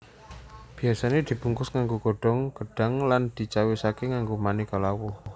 Biyasane dibungkus nganggo godhong gedhang lan dicawisake nganggo maneka lawuh